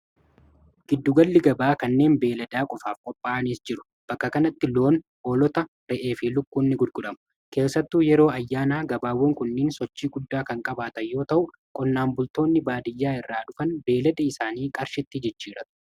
giddu galli gabaa kanneen beeladaa qofaaf qophaa'aniis jiru bakka kanatti loon hoolota ra'ee fi lukkuunnis gurguramu keessattu yeroo ayyaanaa gabaawwan kunniin sochii guddaa kan qabaata yoo ta'u qonnaan bultoonni baadiyyaa irraa dhufan beelada isaanii qarshitti jijjiirratuu